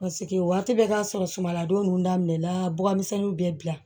Paseke waati bɛɛ k'a sɔrɔ sumanladon ninnu daminɛna bɔgɔmisɛnnin bɛɛ bila